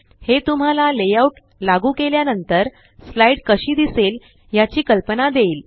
हे तुम्हाला layout लागू केल्या नंतर स्लाइड कशी दिसेल याची कल्पना देईल